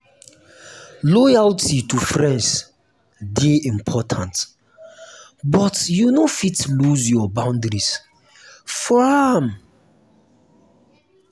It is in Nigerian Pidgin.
loyalty to friends dey important but you no fit lose your boundaries for am.